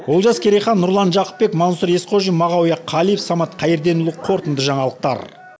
олжас керейхан нұрлан жақыпбек мансұр есқожин мағауия қалиев самат қайырденұлы қорытынды жаңалықтар